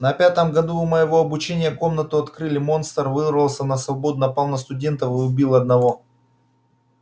на пятом году моего обучения комнату открыли монстр вырвался на свободу напал на студентов и убил одного